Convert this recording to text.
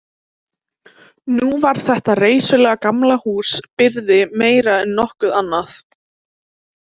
Nú var þetta reisulega gamla hús byrði meira en nokkuð annað.